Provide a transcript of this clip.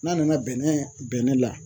N'an nana bɛnɛ bɛnɛ la